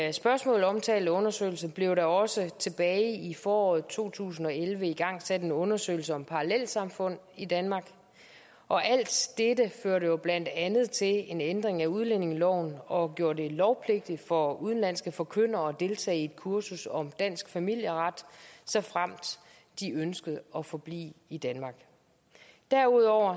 i spørgsmålet omtalte undersøgelse blev der også tilbage i foråret to tusind og elleve igangsat en undersøgelse af parallelsamfund i danmark og alt dette førte jo blandt andet til en ændring af udlændingeloven og gjorde det lovpligtigt for udenlandske forkyndere at deltage i et kursus om dansk familieret såfremt de ønskede at forblive i danmark derudover